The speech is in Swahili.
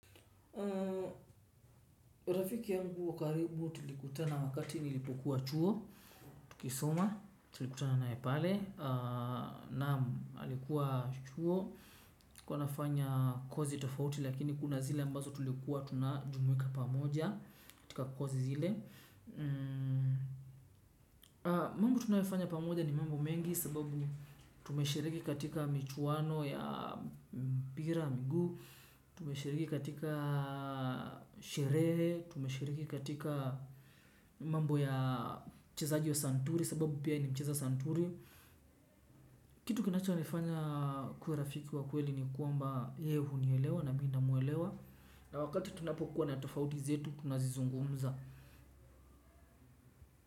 Rafiki yangu wa karibu tulikutana wakati nilipokuwa chuo. Tukisoma tulikutana nae pale. Naam alikuwa chuo alikuwa anafanya kozi tofauti lakini kuna zile ambazo tulikuwa tunajumuika pamoja. Katika kozi zile mambo tunayofanya pamoja ni mambo mengi. Sababu tumeshiriki katika michwano ya mpira miguu. Tumeshiriki katika sherehe. Tumeshiriki katika mambo ya uchezaji wa santuri. Sababu pia ni mcheza santuri. Kitu kinacho nifanya akuwe rafiki wa kweli ni kwamba yeye unielewa na mimi namwelewa na wakati tunapokuwa na tofauti zetu tunazizungumza.